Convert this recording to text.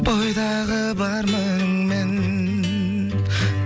бойдағы бар мініңмен